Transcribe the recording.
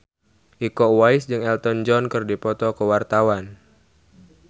Iko Uwais jeung Elton John keur dipoto ku wartawan